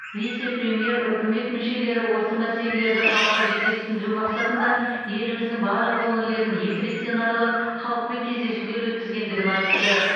вице премьер үкімет мүшелері осы мәселелерді халыққа жете түсіндіру мақсатында еліміздің барлық өңірлерін екі реттен аралап халықпен кездесулер өткізгендігін айтты